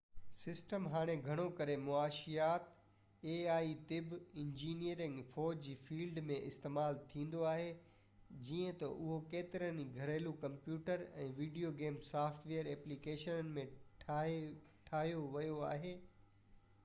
ai system هاڻي گهڻو ڪري معاشيات طب انجنيئرنگ ۽ فوج جي فليڊ ۾ استعمال ٿيندو آهي جيئن تہ اهو ڪيترن ئي گهريلو computer ۽ video game software applications ۾ ٺاهيو ويو آهي